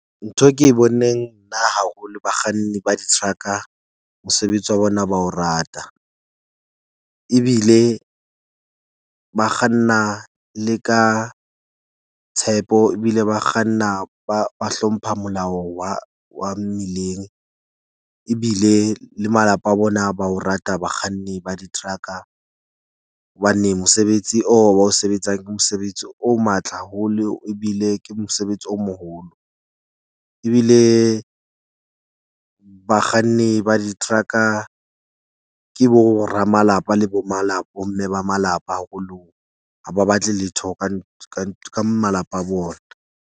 Ntho ke e boneng nna haholo bakganni ba di-truck-a mosebetsi wa bona, ba o rata ebile ba kganna le ka tshepo ebile ba kganna ba ba hlompha molao wa wa mmileng ebile le malapa a bona. Ba o rata bakganni ba diteraka hobane mosebetsi oo ba o sebetsang. Ke mosebetsi o matla haholo ebile ke mosebetsi o moholo. Ebile bakganni ba diteraka ke bo ra malapa le bo bo mme ba malapa haholo. Ha ba batle letho ka ka malapa a bona.